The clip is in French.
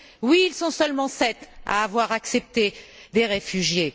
Oui, ils sont seulement 7 à avoir accepté des réfugiés.